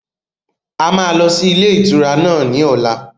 A máa lọ sí ilé ìtura náà ní ọ̀la